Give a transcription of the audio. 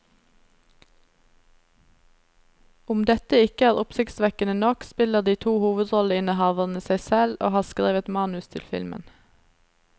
Om dette ikke er oppsiktsvekkende nok, spiller de to hovedrolleinnehaverne seg selv og har skrevet manus til filmen.